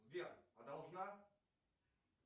сбер а должна